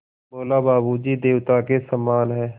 बोला बाबू जी देवता के समान हैं